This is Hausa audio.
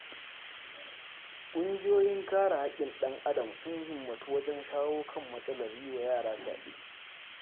Ƙungiyoyin kare haƙƙin ɗan-adam sun himmatu wajen shawo kan matsalar yi wa yara fyaɗe.